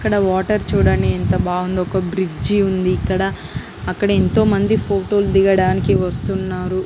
ఇక్కడ వాటర్ చూడండి ఎంత బాగుందో. ఒక్క బ్రిడ్జి ఉంది ఇక్కడ. అక్కడ ఎంతో మంది ఫోటో దిగటానికి వస్తున్నారు.